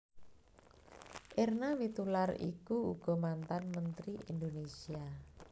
Erna Wiitoelar iku uga mantan Menteri Indonesia